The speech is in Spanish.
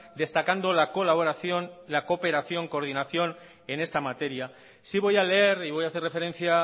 destacando la colaboración la cooperación coordinación en esta materia sí voy a leer y voy a hacer referencia